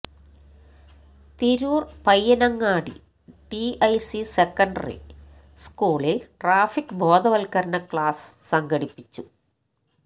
Tirur Payyanangadi TIC secondary സ്കൂളിൽ traffic ബോധവൽകരണ class സംഘടിപ്പിച്ചു